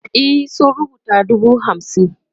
e sun rubuta dubu hamsin